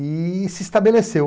E se estabeleceu.